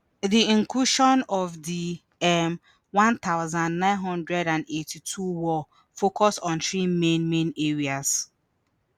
di incursion of di um one thousand, nine hundred and eighty-two war focus on three main main areas